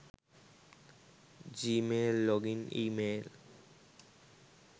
gmail login email